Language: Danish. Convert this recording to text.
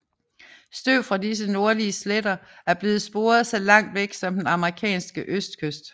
Støv fra disse nordlige sletter er blevet sporet så langt væk som den amerikanske østkyst